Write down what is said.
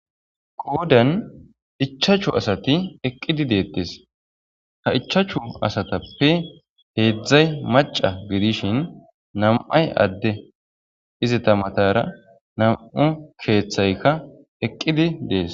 Qoodan ichchachu asathi eqqidi deeththes;ha ichchachu asathappe heezzay macca gidishin nam7ay adde;izetha mathaara nam7u keeththayka eqqidi des.